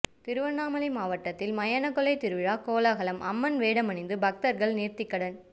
திருவண்ணாமலை மாவட்டத்தில் மயானக்கொள்ளை திருவிழா கோலாகலம் அம்மன் வேடமணிந்து பக்தர்கள் நேர்த்திக்கடன்